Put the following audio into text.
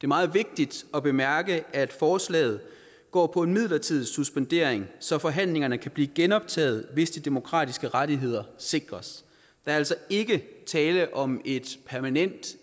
meget vigtigt at bemærke at forslaget går på en midlertidig suspendering så forhandlingerne kan blive genoptaget hvis de demokratiske rettigheder sikres der er altså ikke tale om et permanent